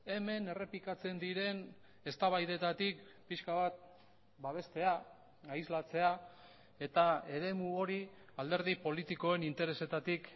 hemen errepikatzen diren eztabaidetatik pixka bat babestea aislatzea eta eremu hori alderdi politikoen interesetatik